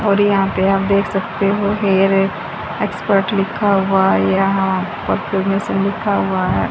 और यहां पे आप देख सकते हो हेअर एक्सपर्ट लिखा हुआ है यहां में से लिखा हुआ है।